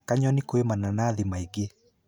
Kanyoni kwĩ mananathi maingĩ.